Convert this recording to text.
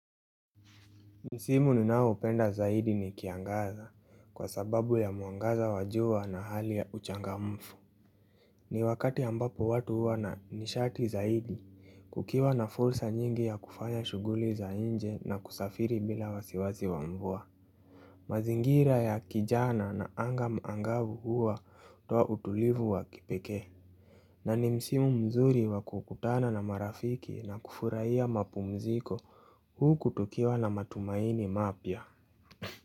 Msimu ninaoupenda zaidi ni kiangazi, kwa sababu ya mwangaza wa jua na hali ya uchangamfu ni wakati ambapo watu huwa na ni sharti zaidi Kukiwa na fursa nyingi ya kufanya shughuli za nje na kusafiri bila wasiwasi wa mvua mazingira ya kijana na anga angavu huwa hutoa utulivu wa kipekee na ni msimu mzuri wa kukutana na marafiki na kufurahia mapumziko huu kutukiwa na matumaini mapya.